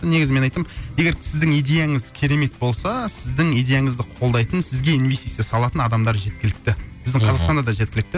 негізі мен айтамын егер сіздің идеяңыз керемет болса сіздің идеяңызды қолдайтын сізге инвестиция салатын адамдар жеткілікті мхм біздің қазақстанда да жеткілікті